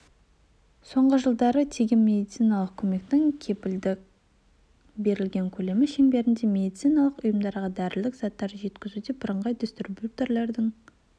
соңғы жылдары тегін медициналық көмектің кепілдік берілген көлемі шеңберінде медициналық ұйымдарға дәрілік заттарды жеткізуде бірыңғай дистрибьютердің